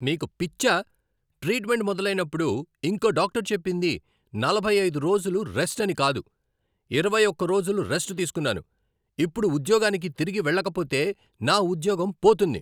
నీకు పిచ్చా? ట్రీట్మెంట్ మొదలైనప్పుడు ఇంకో డాక్టర్ చెప్పింది నలభై ఐదు రోజులు రెస్ట్ అని కాదు. ఇరవై ఒక్క రోజులు రెస్ట్ తీసుకున్నాను, ఇప్పుడు ఉద్యోగానికి తిరిగి వెళ్లకపోతే నా ఉద్యోగం పోతుంది.